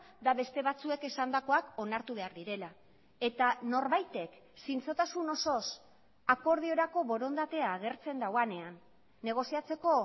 eta beste batzuek esandakoak onartu behar direla eta norbaitek zintzotasun osoz akordiorako borondatea agertzen duenean negoziatzeko